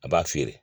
A b'a feere